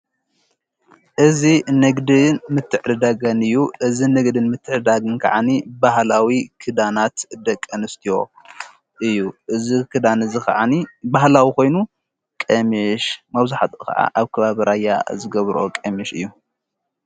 እዚ ንግድን ምትዕድዳገን እዩ እዝ ንግድን ምትዕዳግን ከዓኒ ባህላዊ ክዳናት ደቀ ኣንስትዮ እዩ እዝ ክዳን እዝ ኸዓኒ ህላዊባ ኾይኑ ቀምሽ መውዛሕቲኡ ኸዓ ኣብ ከባብ ራያ ዝገብሮ ቐምሽ እዩ።